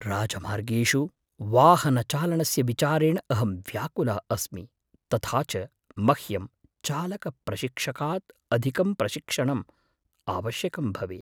राजमार्गेषु वाहनचालनस्य विचारेण अहं व्याकुलः अस्मि तथा च मह्यं चालकप्रशिक्षकात् अधिकं प्रशिक्षणम् आवश्यकं भवेत्।